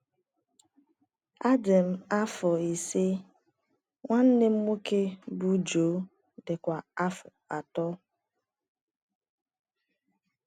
Adị m afọ ise, nwanne m nwoke bụ́ Joe dịkwa afọ atọ.